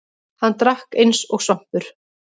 Hann drakk eins og svampur.